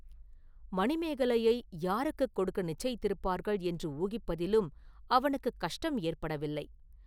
மணிமேகலையை யாருக்குக் கொடுக்க நிச்சயித்திருப்பார்கள் என்று ஊகிப்பதிலும் அவனுக்குக் கஷ்டம் ஏற்படவில்லை.